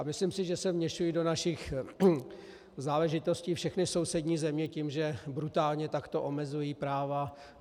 A myslím si, že se vměšují do našich záležitostí všechny sousední země tím, že brutálně takto omezují práva.